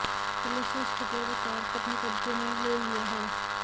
police ने scooter व तार को अपने कब्जे में ले लिया है